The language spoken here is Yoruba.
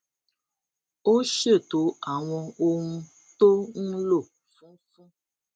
ó ṣètò àwọn ohun tó ń lò fún fún